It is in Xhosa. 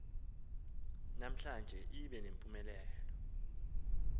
namhlanje ibe nempumelelo